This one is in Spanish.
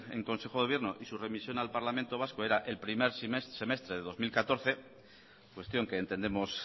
en consejo de gobierno y su remisión al parlamento vasco era el primer semestre de dos mil catorce cuestión que entendemos